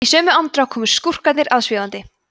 í sömu andrá koma skúrkarnir aðvífandi